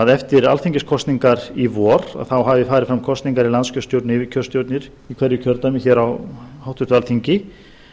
eftir alþingiskosningar í vor þá höfðu farið fram kosningar í landskjörstjórn yfirkjörstjórnir í hverju kjördæmi hér á háttvirtu alþingi